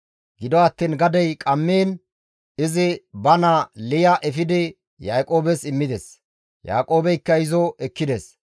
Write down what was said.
Gido attiin gadey qammiin izi ba naa Liya efidi Yaaqoobes immides; Yaaqoobeykka izo ekkides.